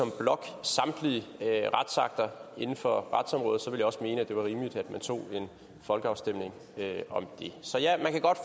samtlige retsakter inden for retsområdet ville jeg også mene at det var rimeligt at man tog en folkeafstemning om det så ja man kan godt